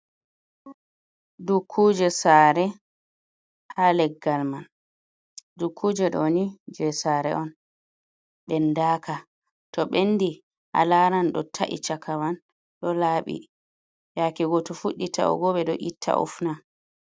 Dukkuje sare ha leggal man. Dukuje ɗoni je sare on ɓendaka, to ɓendi alaran ɗo ta’i chakaman ɗo laɓi, yake go to fuɗɗi ta’ugo be ɗo itta ufna.